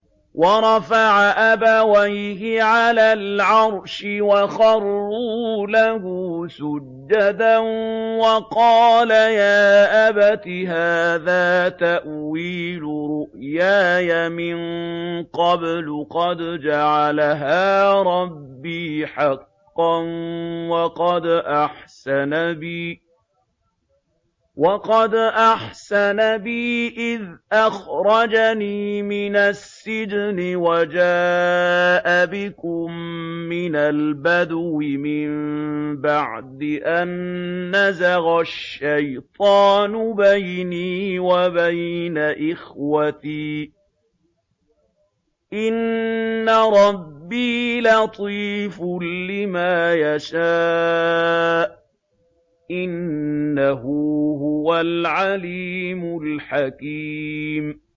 وَرَفَعَ أَبَوَيْهِ عَلَى الْعَرْشِ وَخَرُّوا لَهُ سُجَّدًا ۖ وَقَالَ يَا أَبَتِ هَٰذَا تَأْوِيلُ رُؤْيَايَ مِن قَبْلُ قَدْ جَعَلَهَا رَبِّي حَقًّا ۖ وَقَدْ أَحْسَنَ بِي إِذْ أَخْرَجَنِي مِنَ السِّجْنِ وَجَاءَ بِكُم مِّنَ الْبَدْوِ مِن بَعْدِ أَن نَّزَغَ الشَّيْطَانُ بَيْنِي وَبَيْنَ إِخْوَتِي ۚ إِنَّ رَبِّي لَطِيفٌ لِّمَا يَشَاءُ ۚ إِنَّهُ هُوَ الْعَلِيمُ الْحَكِيمُ